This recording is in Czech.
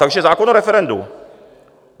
Takže zákon o referendu.